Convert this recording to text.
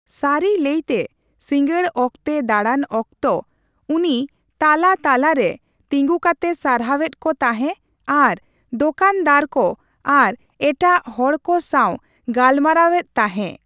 ᱥᱟᱨᱤ ᱞᱟᱹᱭ ᱛᱮ ᱥᱤᱸᱜᱟᱹᱲ ᱚᱠᱛᱮ ᱫᱟᱲᱟᱱ ᱚᱠᱛᱚ, ᱩᱱᱤ ᱛᱟᱞᱟᱼᱛᱟᱞᱟ ᱨᱮ ᱛᱤᱸᱜᱩ ᱠᱟᱛᱮ ᱥᱟᱨᱦᱟᱣ ᱮᱫ ᱠᱚ ᱛᱟᱦᱮᱸ ᱟᱨ ᱫᱚᱠᱟᱱᱫᱟᱨ ᱠᱚ ᱟᱨ ᱮᱴᱟᱜ ᱦᱚᱲᱠᱚ ᱥᱟᱣ ᱜᱟᱞᱢᱟᱨᱟᱣ ᱮᱫ ᱛᱟᱦᱮᱸ᱾